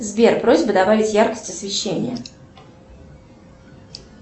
сбер просьба добавить яркость освещения